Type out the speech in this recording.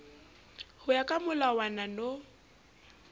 ho ya ka molawana no